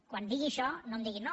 quan digui això no em diguin no